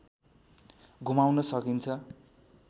घुमाउन सकिन्छ